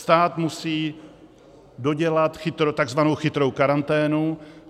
Stát musí dodělat takzvanou chytrou karanténu.